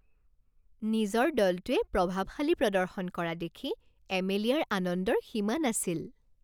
নিজৰ দলটোৱে প্ৰভাৱশালী প্ৰদৰ্শন কৰা দেখি এমেলিয়াৰ আনন্দৰ সীমা নাছিল